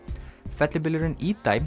fellibylurinn